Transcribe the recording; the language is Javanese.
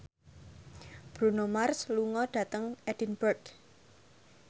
Bruno Mars lunga dhateng Edinburgh